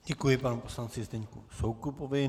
Děkuji panu poslanci Zdeňku Soukupovi.